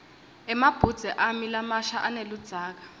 emabhudze ami lamasha aneludzaka